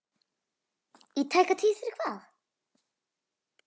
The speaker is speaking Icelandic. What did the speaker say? Í tæka tíð fyrir hvað?